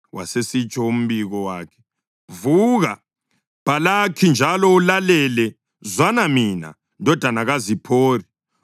Wasesitsho umbiko wakhe: “Vuka, Bhalaki, njalo ulalele; zwana mina, ndodana kaZiphori.